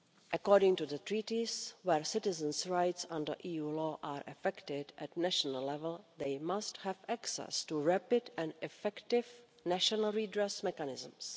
According to the Treaties, where citizens' rights under EU law are affected at national level they must have access to rapid and effective national redress mechanisms.